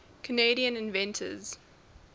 canadian inventors